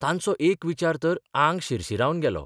तांचो एक विचार तर आंग शिरशिरावन गेलो